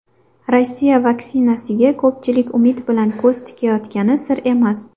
Rossiya vaksinasiga ko‘pchilik umid bilan ko‘z tikayotgani sir emas.